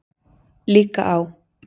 Líka á